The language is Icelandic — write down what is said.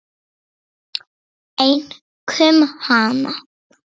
Einkum hana.